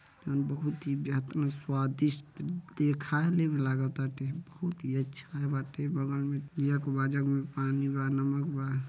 बहुत ही बेहतरीन स्वादिष्ट लागताटे। बहुत ही अच्छा बाटे। बगल में जग में पानी बा नमक बा।